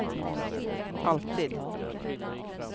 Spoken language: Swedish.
alltid